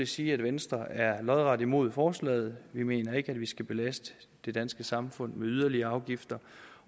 sige at venstre er lodret imod forslaget vi mener ikke at vi skal belaste det danske samfund med yderligere afgifter